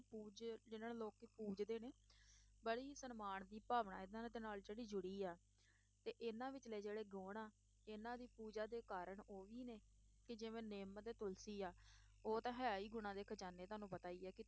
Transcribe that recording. ਪੂਜ ਜਿਹਨਾਂ ਨੂੰ ਲੋਕ ਪੂਜਦੇ ਨੇ, ਬੜੀ ਹੀ ਸਨਮਾਨ ਦੀ ਭਾਵਨਾ ਇਹਨਾਂ ਦੇ ਨਾਲ ਜਿਹੜੀ ਜੁੜੀ ਹੈ ਤੇ ਇਨ੍ਹਾਂ ਵਿਚਲੇ ਜਿਹੜੇ ਗੁਣ ਆ, ਇਨ੍ਹਾਂ ਦੀ ਪੂਜਾ ਦੇ ਕਾਰਨ ਉਹੀ ਨੇ ਕਿ ਜਿਵੇਂ ਨਿੰਮ ਅਤੇ ਤੁਲਸੀ ਹੈ ਉਹ ਤਾਂ ਹੈ ਹੀ ਗੁਣਾਂ ਦੇ ਖਜ਼ਾਨੇ, ਤੁਹਾਨੂੰ ਪਤਾ ਹੀ ਹੈ ਕਿ